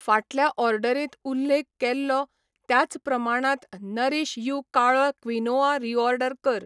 फाटल्या ऑर्डरींत उल्लेख केल्लो त्याच प्रमाणात नरीश यू काळो क्विनोआ रीऑर्डर कर.